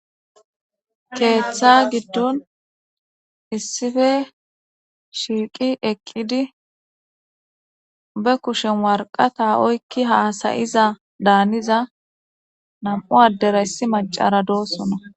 keeththa giddon issife shiiqi eqqidi be kushen warqata oykki haasayiza daaniza nam7u addera issi macara doosona